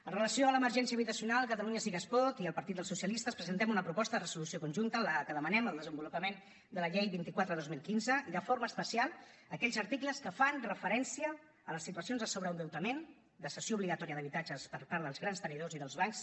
amb relació a l’emergència habitacional catalunya sí que es pot i el partit dels socialistes presentem una proposta de resolució conjunta amb què demanem el desenvolupament de la llei vint quatre dos mil quinze i de forma especial d’aquells articles que fan referència a les situacions de sobreendeutament de cessió obligatòria d’habitatges per part dels grans tenidors i dels bancs